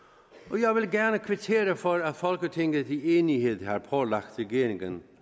og jeg vil gerne kvittere for at folketinget i enighed har pålagt regeringen